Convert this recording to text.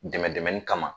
Dɛmɛ dɛmɛ kama